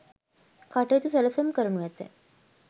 කටයුතු සැලසුම් කරනු ඇත.